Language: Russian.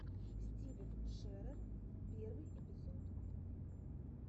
стивен шерер первый эпизод